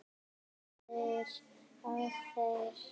Myndir af þér.